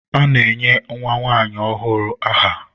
A na-enye nwa nwanyi ọhụụ aha.